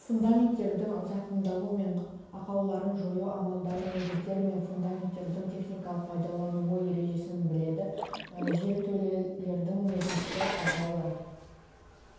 фундаменттердің зақымдалу мен ақауларын жою амалдары негіздер мен фундаменттердің техникалық пайдалануы ережесін біледі жертөлелердің негізгі ақаулары